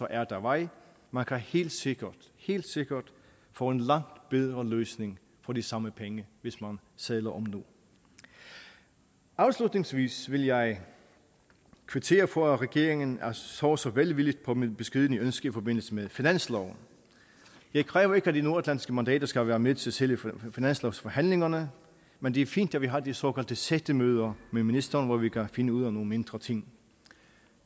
er der vej man kan helt sikkert helt sikkert få en langt bedre løsning for de samme penge hvis man sadler om nu afslutningsvis vil jeg kvittere for at regeringen så så velvilligt på mit beskedne ønske i forbindelse med finansloven jeg kræver ikke at de nordatlantiske mandater skal være med til selve finanslovsforhandlingerne men det er fint at vi har de såkaldte sættemøder med ministeren hvor vi kan finde ud af nogle mindre ting